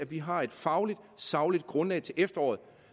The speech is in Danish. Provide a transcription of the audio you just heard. vi har et fagligt sagligt grundlag til efteråret